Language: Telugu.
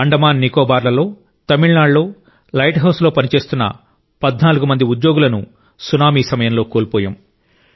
అండమాన్ నికోబార్లలో తమిళనాడులో లైట్ హౌజుల్లో పనిచేస్తున్న 14 మంది ఉద్యోగులను సునామీ సమయంలో కోల్పోయాం